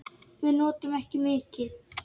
Við notum ekki mikið.